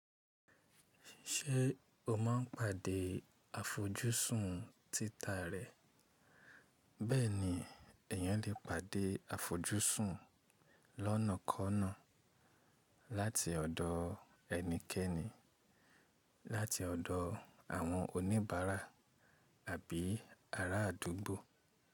Ṣé o máa ń pàdé àfojúsùn títà rẹ? Bẹ́ẹ̀ni, èèyàn lè pàdé àfojúsùn lọ́nàkọ́ọ̀nà láti ọ̀dọ̀ ẹnikẹ́ni, láti ọ̀dọ̀ àwọn oníbàárà àbí ará àdúgbò.